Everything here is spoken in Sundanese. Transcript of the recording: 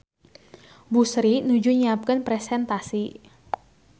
Bu Sri nuju nyiapkeun presentasi